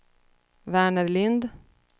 Verner Lindh